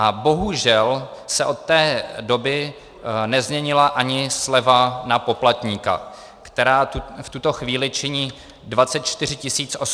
A bohužel se od té doby nezměnila ani sleva na poplatníka, která v tuto chvíli činí 24 840 korun na poplatníka a rok.